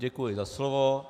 Děkuji za slovo.